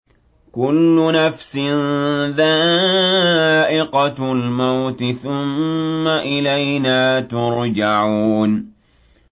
كُلُّ نَفْسٍ ذَائِقَةُ الْمَوْتِ ۖ ثُمَّ إِلَيْنَا تُرْجَعُونَ